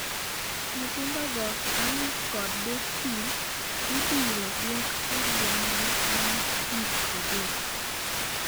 Nyithindo go, Anick kod Destin, ibiro duok e gweng'gi bang' wik adek.